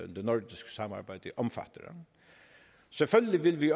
det nordiske samarbejde omfatter selvfølgelig vil vi